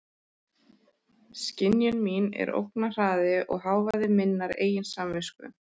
Skynjun mín er ógnarhraði og hávaði minnar eigin samvisku.